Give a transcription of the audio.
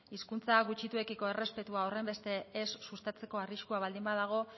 hizkuntza gutxituekiko errespetua horren beste ez sustatzeko arriskua baldin badago